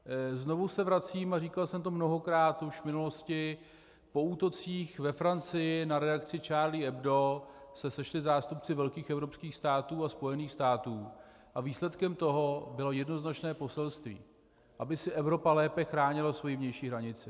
Znovu se vracím, a říkal jsem to mnohokrát už v minulosti, po útocích ve Francii na reakci Charlie Hebdo se sešli zástupci velkých evropských států a Spojených států a výsledkem toho bylo jednoznačné poselství - aby si Evropa lépe chránila svoji vnější hranici.